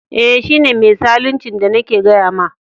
Eh, shi ne mai zaluncin da nake gaya ma.